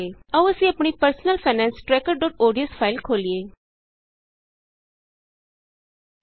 ਆਉ ਅਸੀਂ ਆਪਣੀ personal finance tracker dot ODS personal finance trackerਓਡੀਐਸ ਫਾਇਲ ਖੋਲੀਏ